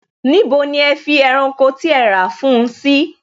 Níbo ni ẹ fi ẹranko tí ẹ rà fún un sí?